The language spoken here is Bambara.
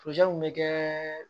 bɛ kɛ